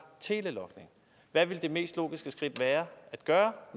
telelogning hvad ville det mest logiske skridt være